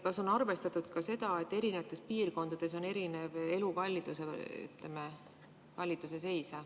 Kas on arvestatud ka seda, et eri piirkondades on erinev elukalliduse seis?